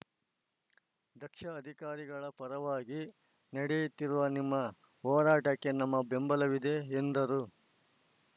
ದಕ್ಷ ಅಧಿಕಾರಿಗಳ ಪರವಾಗಿ ನಡೆಯುತ್ತಿರುವ ನಿಮ್ಮ ಹೋರಾಟಕ್ಕೆ ನಮ್ಮ ಬೆಂಬಲವಿದೆ ಎಂದರು